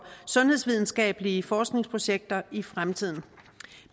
sundhedsvidenskabelige forskningsprojekter i fremtiden